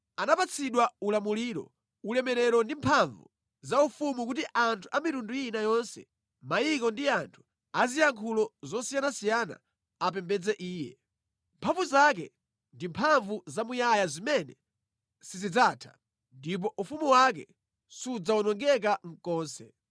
Anapatsidwa ulamuliro, ulemerero ndi mphamvu za ufumu kuti anthu a mitundu ina yonse, mayiko ndi anthu aziyankhulo zosiyanasiyana apembedze iye. Mphamvu zake ndi mphamvu zamuyaya zimene sizidzatha, ndipo ufumu wake sudzawonongeka konse.